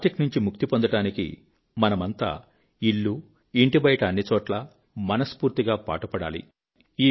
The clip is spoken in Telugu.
ప్లాస్టిక్ నుంచి ముక్తి పొందడానికి మనమంతా ఇల్లు ఇంటిబయట అన్ని చోట్లా మనస్ఫూర్తిగా పాటుపడాలి